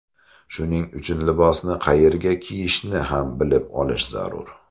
Shuning uchun libosni qayerga kiyishni ham bilib olish zarur.